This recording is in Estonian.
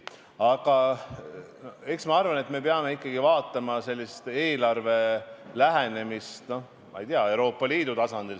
Aga ma arvan, et eks me peame ikkagi vaatama eelarvele lähenemist kogu Euroopa Liidu tasandil.